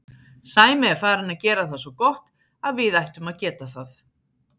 Sæmi er farinn að gera það svo gott að við ættum að geta það.